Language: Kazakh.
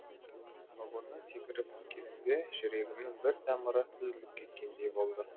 вагоннан секіріп түскенімде жүрегімнің бір тамыры үзіліп кеткендей болды